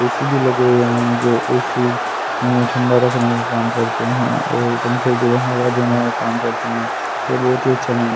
AC भी लगे हुए हैं जो ए_सी इन्हे ठंडा रखने का काम करते हैं और पंखे जो है वह देने का काम करते हैं यह बहोत ही अच्छा--